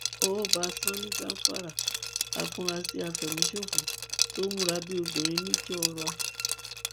ọwọ bá sanni gàfárà àfurasí àfẹmíṣòfò tó múra bíi obìnrin nìjọra